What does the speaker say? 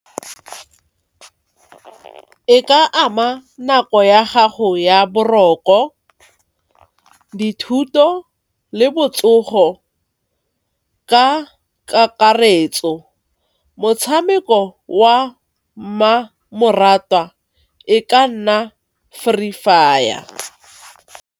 E ka ama nako ya gago ya boroko, dithuto le botsogo ka kakaretso. Motshameko wa mmamoratwa e ka nna Free Fire.